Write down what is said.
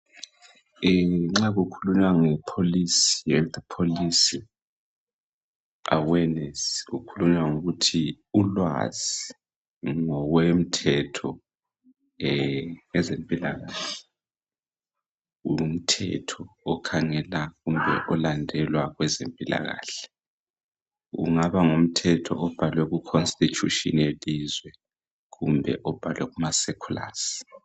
Ee, nxa kukhulunywa ngepolicy. health policy, awareness. Kukhulunywa ngolkuthi ulwazi ngokwemthetho, yezempilakahle. Ngumthetho okhangela, kumbe olandelwa kwezempilakahle. Kungaba ngumthetho obhalwe kuconstitution yelizwe. Kumbe obhalwe kumacirculars.